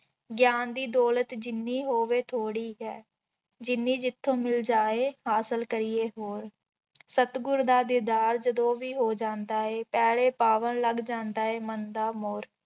ਗਿਆਨ ਦੀ ਦੌਲਤ ਜਿੰਨੀ ਹੋਵੇ ਥੋੜ੍ਹੀ ਹੈ, ਜਿੰਨੀ ਜਿੱਥੋਂ ਮਿਲ ਜਾਏ ਹਾਸਿਲ ਕਰੀਏ ਹੋਰ, ਸਤਿਗੁਰ ਦਾ ਦੀਦਾਰ ਜਦੋਂ ਵੀ ਹੋ ਜਾਂਦਾ ਹੈ ਪੈਲੇ ਪਾਵਣ ਲੱਗ ਜਾਂਦਾ ਹੈ ਮਨ ਦਾ ਮੋਰ।